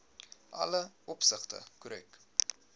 alle opsigte korrek